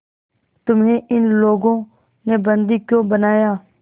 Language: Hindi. तुम्हें इन लोगों ने बंदी क्यों बनाया